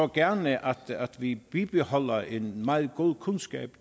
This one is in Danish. gerne så at vi bibeholdt en meget god kundskab